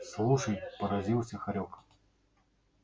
слушай поразился хорёк